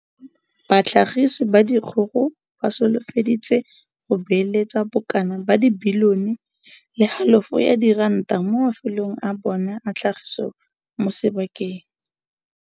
Batlhagise ba dikgogo ba solofeditse go beeletsa bo kana ka bilione le halofo ya diranta mo mafelong a bona a tlhagiso mo sebakeng.